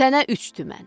Sənə üç tümən.